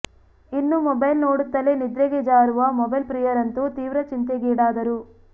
ಇನ್ನು ಮೊಬೈಲ್ ನೋಡುತ್ತಲೇ ನಿದ್ರೆಗೆ ಜಾರುವ ಮೊಬೈಲ್ ಪ್ರಿಯರಂತೂ ತೀವ್ರ ಚಿಂತೆಗೀಡಾದರು